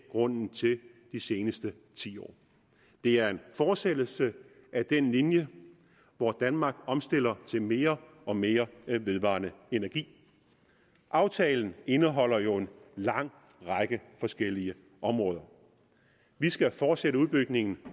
grunden til de seneste ti år det er en fortsættelse af den linje hvor danmark omstiller til mere og mere vedvarende energi aftalen indeholder jo en lang række forskellige områder vi skal fortsætte udbygningen